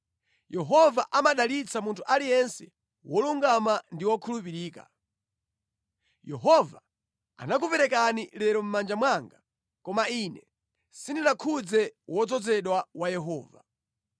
Yehova amadalitsa munthu aliyense wolungama ndi wokhulupirika. Yehova anakuperekani lero mʼmanja mwanga, koma ine sindinakhudze wodzozedwa wa Yehova.